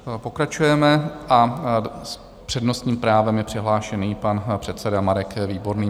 Pokračujeme a s přednostním právem je přihlášený pan předseda Marek Výborný.